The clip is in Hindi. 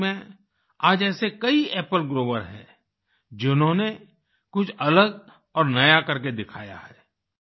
मणिपुर में आज ऐसे कई एपल ग्रोवर्स हैं जिन्होंने कुछ अलग और नया करके दिखाया है